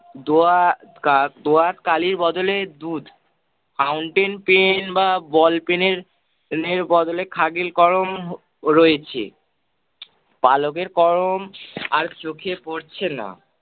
দোয়া~ কাল~ দোয়া কালির বদলে দুধ, fountain pen বা ball pen এর পরিবর্তে খাগিল কলম রয়েছে। পালকের কলম আর চোখে পরছে না।